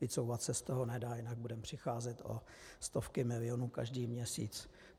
Vycouvat se z toho nedá, jinak budeme přicházet o stovky milionů každý měsíc.